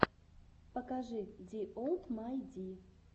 покажи ди олл май ди